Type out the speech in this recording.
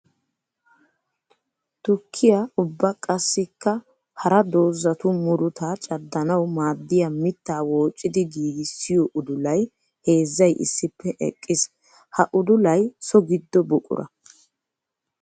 Tukkiya ubba qassikka hara doozattu murutta caddanawu maaddiya mitta woociddi giigissiyo udullay heezzay issippe eqqiis. Ha udullay so gido buqura.